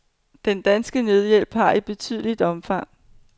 Den danske nødhjælp har et betydeligt omfang.